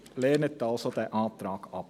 Lehnen Sie also diesen Antrag ab.